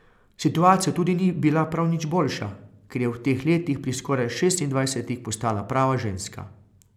Situacija tudi ni bila prav nič boljša, ker je v teh letih pri skoraj šestindvajsetih postala prava ženska.